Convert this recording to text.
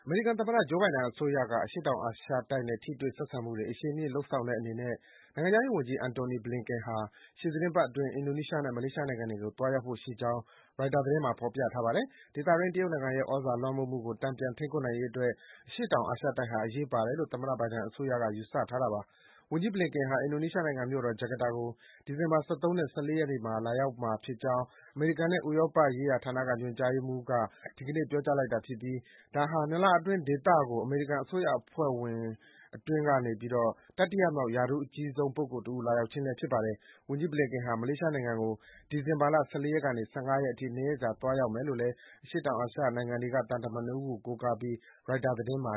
မေရိကန်သမ္မတ Joe Biden အစိုးရက အရှေ့တောင်အာရှတိုက်နဲ့ ထိတွေ့ဆက်ဆံမှုတွေ အရှိန်မြှင့် လုပ်ဆောင်တဲ့အနေနဲ့ နိုင်ငံခြားရေးဝန်ကြီး Antony Blinken ဟာ ရှေ့သီတင်းပတ်အတွင်း အင်ဒိုနီးရှားနဲ့ မလေးရှားနိုင်ငံတွေကို သွားရောက်ဖို့ ရှိနေကြောင်း ရိုက်တာသတင်းမှာ ဖော်ပြထားပါတယ်။ ဒေသအတွင်း တရုတ်နိုင်ငံရဲ့ သြဇာလွှမ်းမိုးမှုကို တန်ပြန် ထိန်းကွပ်နိုင်ရေးအတွက် အရှေ့တောင်အာရှတိုက်ဟာ အရေးပါတယ်လို့ သမ္မတ Biden အစိုးရက ယူဆထားတာပါ။ ဝန်ကြီး Blinken ဟာ အင်ဒိုနီးရှားနိုင်ငံ မြို့တော် ဂျကာတာကို ဒီဇင်ဘာ ၁၃ နဲ့ ၁၄ ရက်နေ့တွေမှာ လာရောက်မှာဖြစ်ကြောင်း အမေရိကန်နဲ့ ဥရောပရေးရာဌာနက ညွှန်ကြားရေးမှူး I Gede Ngurah Swajaya ဒီကနေ့ ပြောကြားလိုက်တာဖြစ်ပြီး ဒါဟာ ၂ လအတွင်း ဒီဒေသကို အမေရိကန် အစိုးရအဖွဲ့အတွင်းက တတိယမြောက် ရာထူးအကြီးဆုံး ပုဂ္ဂိုလ်တဦး လာရောက်ခြင်းလည်း ဖြစ်ပါတယ်။ ဝန်ကြီး Blinken ဟာ မလေးရှားနိုင်ငံကိုလည်း ဒီဇင်ဘာ ၁၄ ကနေ ၁၅ ရက်နေ့အထိ ၂ ရက်ကြာ သွားရောက်မယ်လို့ အရှေ့တောင်အာရှ နိုင်ငံတွေက သံတမန် ၂ ဦးကို ကိုးကားပြီး ရိုက်တာသတင်းမှ